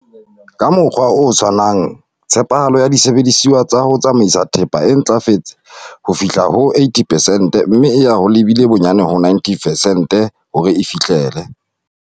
Ka mokgwa o tshwanang, tshepahalo ya disebediswa tsa ho tsamaisa thepa e ntlafetse ho fihla ho 80 pesente mme e ya e lebile bonyane ho 90 pesente hore e fihlele.